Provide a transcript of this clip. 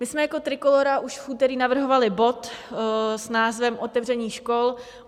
My jsme jako Trikolóra už v úterý navrhovali bod s názvem otevření škol.